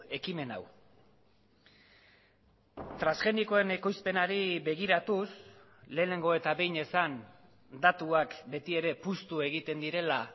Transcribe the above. ekimen hau transgenikoen ekoizpenari begiratuz lehenengo eta behin esan datuak betiere puztu egiten direla